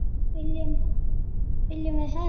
Viljum við hefnd?